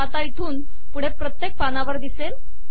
हा इथून पुढे प्रत्येक पानावर येईल